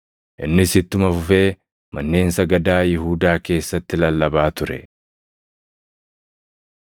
Innis ittuma fufee manneen sagadaa Yihuudaa keessatti lallabaa ture.